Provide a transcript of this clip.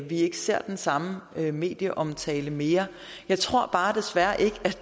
vi ikke ser den samme medieomtale mere jeg tror bare desværre at